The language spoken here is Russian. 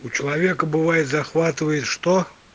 у человека бывает захватывает что